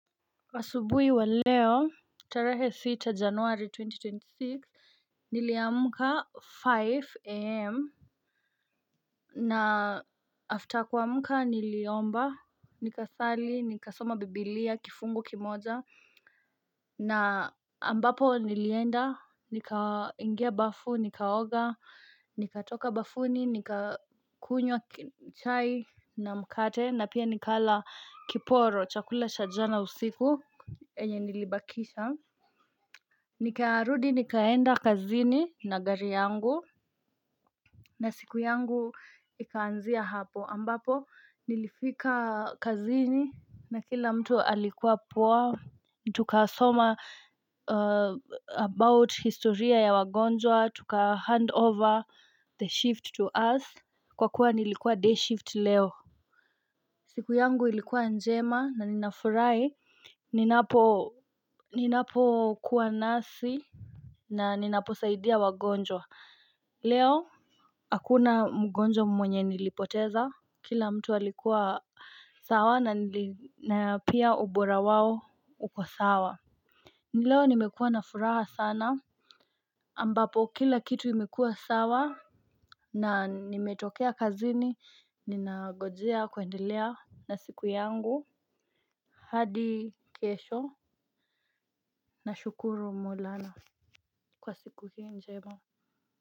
Kwa asubuhi wa leo, tarehe sita januari twenty twenty six, niliamuka five a.m. Na after kuamka niliomba, nikasali, nikasoma biblia, kifungu kimoja, na ambapo nilienda, nikaingia bafu, nikaoga, nikatoka bafuni, nikakunywa chai na mkate, na pia nikala kiporo, chakula cha jana usiku. Yenye nilibakisha nikarudi nikaenda kazini na gari yangu. Na siku yangu ikaanzia hapo ambapo nilifika kazini na kila mtu alikuwa poa. Tuka soma about historia ya wagonjwa, tuka hand over the shift to us. Kwa kuwa nilikuwa day shift leo. Siku yangu ilikuwa njema na ninafurahi ninapo ninapo kuwa nasi. Na ninaposaidia wagonjwa. Leo hakuna mgonjwa mwenye nilipoteza. Kila mtu alikuwa sawa na pia ubora wao uko sawa. Leo nimekuwa na furaha sana ambapo kila kitu imekuwa sawa. Na nimetoka kazini. Ninangojea kwendelea na siku yangu. Hadi kesho. Na shukuru maulana kwa siku njema.